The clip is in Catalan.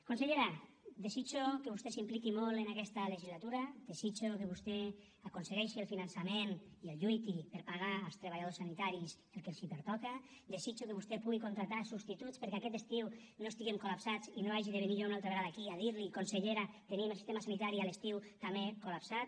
consellera desitjo que vostè s’impliqui molt en aquesta legislatura desitjo que vostè aconsegueixi el finançament que lluiti per pagar als treballadors sanitaris el que els pertoca desitjo que vostè pugui contractar substituts perquè aquest estiu no estiguem col·lapsats i no hagi de venir jo una altra vegada aquí a dir li consellera tenim el sistema sanitari a l’estiu també col·lapsat